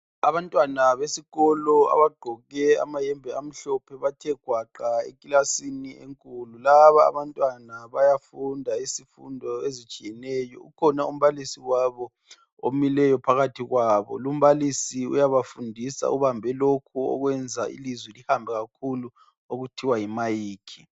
Abantwana besikolo abagqoke amayembe amhlophe bathe gwaqa ekilasini enkulu laba abantwana bayafunda izifundo ezitshiyeneyo ukhona umbalisi wabo omileyo phakathi kwabo lu mbalisi uyabafundisa ubambe lokhu okwenza ilizwi lihambe kakhulu okuthiwa yimayikhi.